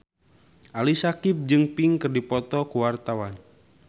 Ali Syakieb jeung Pink keur dipoto ku wartawan